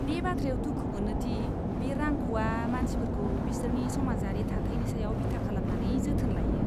बे बाथ्रायाव दुखु मोनो दि बे रांख'आ मानसिफोरखौ बिसोरनि समाजारि थाथायनि सायाव बिथा खालामनानै जोथोन लायो।